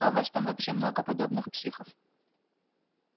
а у вас там вообще много подобных психов